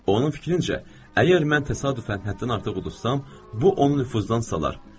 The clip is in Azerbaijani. Onun fikrincə, əgər mən təsadüfən həddən artıq uzsam, bu onu nüfuzdan salar.